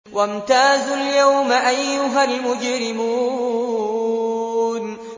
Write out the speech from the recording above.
وَامْتَازُوا الْيَوْمَ أَيُّهَا الْمُجْرِمُونَ